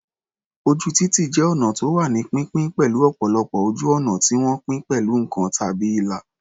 Ojú títì jẹ́ ọnà tó wà ní pínpín, pẹ̀lú ọ̀pọ̀lọpọ̀ ojú ọ̀nà tí wọ́n pín pẹ̀lú nǹkan tàbí ìlà.